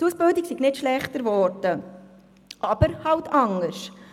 Die Ausbildung sei nicht schlechter geworden, aber anders.